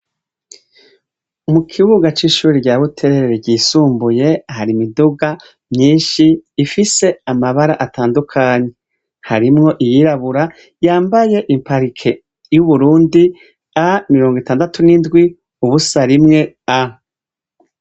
Ku kibuga cishure rya Buterere ryi isumbuye hari imiduga myinshi ifise amabara atandukanye harimwo iyirabura yambaye i parike yu Burundi A6701A.